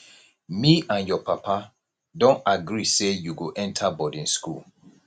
me and your papa don agree say you go enter boarding school